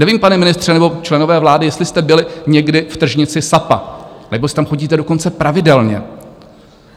Nevím, pane ministře nebo členové vlády, jestli jste byli někdy v tržnici SAPA nebo jestli tam chodíte dokonce pravidelně.